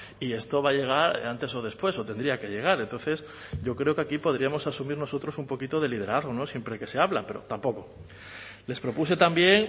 y esto va a llegar antes o después o tendría que llegar entonces yo creo que aquí podríamos asumir nosotros un poquito de liderazgo siempre que se habla pero tampoco les propuse también